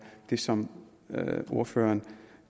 det som ordføreren